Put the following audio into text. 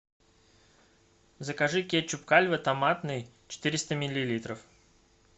закажи кетчуп кальве томатный четыреста миллилитров